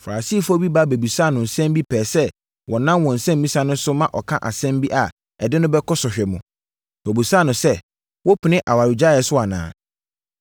Farisifoɔ bi ba bɛbisaa no nsɛm bi pɛɛ sɛ wɔnam wɔn nsɛmmisa no so ma ɔka asɛm bi a ɛde no bɛkɔ sɔhwɛ mu. Wɔbisaa no sɛ, “Wopene awaregyaeɛ so anaa?”